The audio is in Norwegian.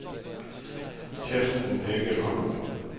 Kirsten Egeland